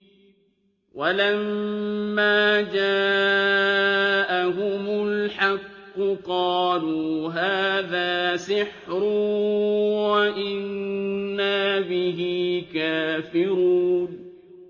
وَلَمَّا جَاءَهُمُ الْحَقُّ قَالُوا هَٰذَا سِحْرٌ وَإِنَّا بِهِ كَافِرُونَ